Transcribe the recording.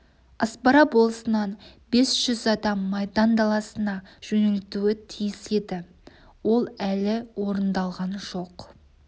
аспара болысынан бес жүз адам майдан даласына жөнелтілуі тиіс еді ол әлі орындалған жоқ